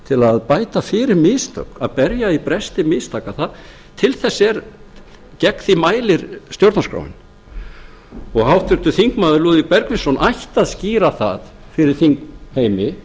til að bæta fyrir mistök að berja í bresti mistaka gegn því mælir stjórnarskráin háttvirtir þingmenn lúðvík bergvinsson ætti að skýra það fyrir þingheimi